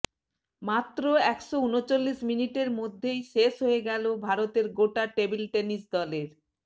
মাত্র একশো উনচল্লিশ মিনিটের মধ্যেই শেষ হয়ে গেল ভারতের গোটা টেবিল টেনিস দলের